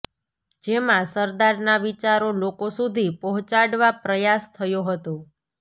જેમાં સરદારના વિચારો લોકો સુધી પહોંચાડવા પ્રયાસ થયો હતો